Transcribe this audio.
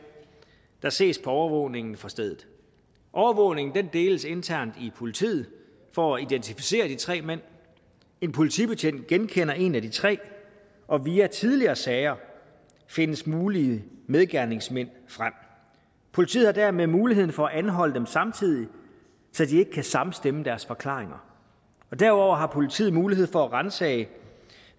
der ses på overvågningen fra stedet overvågningen deles internt i politiet for at identificere de tre mænd en politibetjent genkender en af de tre og via tidligere sager findes mulige medgerningsmænd frem politiet har dermed mulighed for at anholde dem samtidig så de ikke kan samstemme deres forklaringer og derudover har politiet mulighed for at ransage